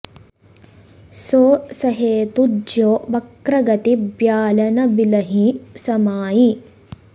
सो सहेतु ज्यों बक्र गति ब्याल न बिलहिं समाइ